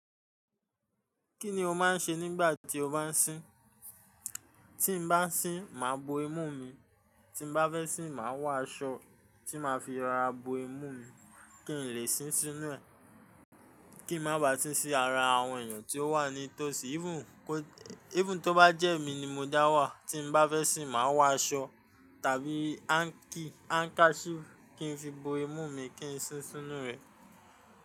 Kí ni o máa ń ṣe nígbà tí o bá ń sín? Tí n bá sín, màá bo imú mi. Tí n bá fẹ́ sín, màá wà aṣọ tí màá fi ra bo imú mi kí n lè sín sínú rẹ̀. Kí n má bá sín sí ara àwọn èèyàn tí ó wà ní tòsí. Even kó-- even tó bá jẹ́ mi ni mo dá wà, tí n bá fẹ́ sín, màá wà aṣọ tàbí hánkí, handkerchief kí n fi bo imú mi kí n sín sínú rẹ̀